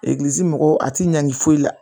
Egilizi mɔgɔw a tɛ ɲagami foyi la